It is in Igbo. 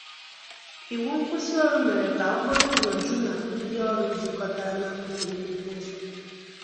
Iwụ nkwụsì ọrụ mere ka okporo ụzọ ju na ndi ọrụ zukotara na akụkụ nnukwu ụzọ.